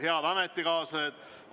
Head ametikaaslased!